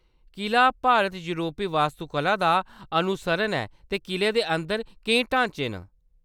किला भारत-योरपी वास्तुकला दा अनुसरण ऐ ते किले दे अंदर केईं ढांचे न।